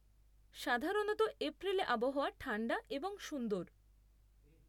সাধারণত, এপ্রিলে আবহাওয়া ঠাণ্ডা এবং সুন্দর।